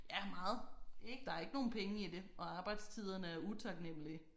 Ja meget der er ikke nogen penge i det og arbejdstiderne er utaknemmelige